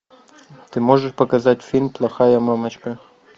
ты можешь показать фильм плохая мамочка